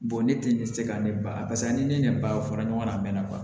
ne ti se ka ne ba paseke ni ne ba fɔra ɲɔgɔn na a mɛnna